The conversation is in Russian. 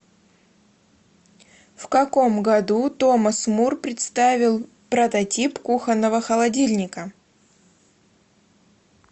в каком году томас мур представил прототип кухонного холодильника